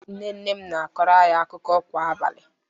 Nne nne m na-akọrọ anyị akụkọ kwa abalị